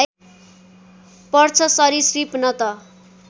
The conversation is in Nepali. पर्छ सरीसृप न त